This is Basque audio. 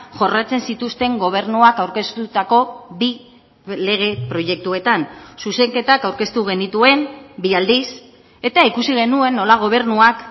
jorratzen zituzten gobernuak aurkeztutako bi lege proiektuetan zuzenketak aurkeztu genituen bi aldiz eta ikusi genuen nola gobernuak